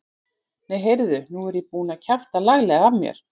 Nei, heyrðu. nú er ég búinn að kjafta laglega af mér!